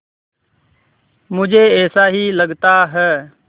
मुझे ऐसा ही लगता है